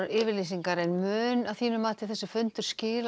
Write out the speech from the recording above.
yfirlýsingar en mun þessi fundur skila